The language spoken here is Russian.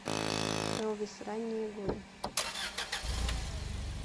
элвис ранние годы